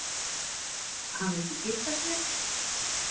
Hann vildi giftast mér